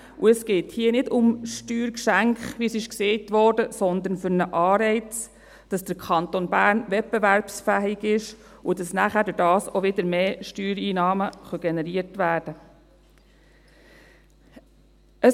Und es geht hier nicht um Steuergeschenke, wie es gesagt wurde, sondern um einen Anreiz, damit der Kanton Bern wettbewerbsfähig ist und nachher dadurch auch wieder mehr Steuereinnahmen generiert werden können.